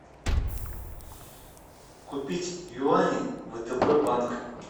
купить юани втб банк